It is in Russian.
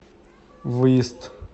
выезд